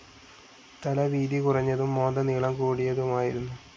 തല വീതി കുറഞ്ഞതും മോന്ത നീളം കൂടിയതുമായിരുന്നു.